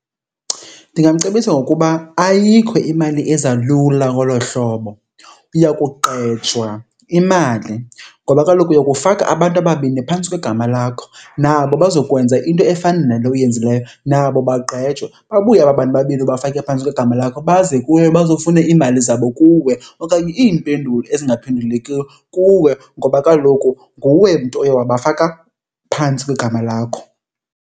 Ndingamcebisa ngokuba ayikho imali eza lula ngolo hlobo, uya kugqejwa imali. Ngoba kaloku uyokufaka abantu ababini phantsi kwegama lakho nabo bazokwenza into efana nale uyenzileyo nabo bagqejwe. Babuye aba bantu babini obafake phantsi kwegama lakho baze kuwe bazofuna iimali zabo kuwe okanye iimpendulo ezingaphendulekiyo kuwe ngoba kaloku nguwe mntu oye wabaka phantsi kwegama lakho.